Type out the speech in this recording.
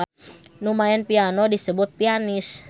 Nu maen piano disebut pianis.